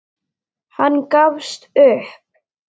Hann gafst upp.